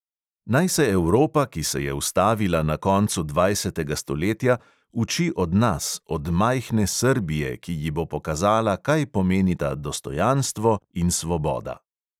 Naj se evropa, ki se je ustavila na koncu dvajsetega stoletja, uči od nas, od majhne srbije, ki ji bo pokazala, kaj pomenita dostojanstvo in svoboda.